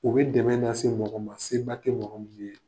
U bɛ dɛmɛ na se mɔgɔ ma se ba tɛ mɔgɔ min ye.